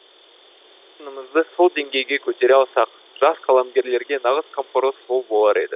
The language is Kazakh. сынымызды сол деңгейге көтере алсақ жас қаламгерлерге нағыз қамқорлық сол болар еді